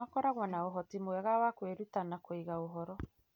makoragwo na ũhoti mwega wa kwĩruta na kũiga ũhoro.